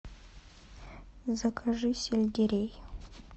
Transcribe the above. закажи сельдерей